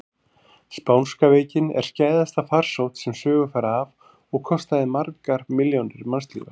Spánska veikin er skæðasta farsótt sem sögur fara af og kostaði margar milljónir mannslífa.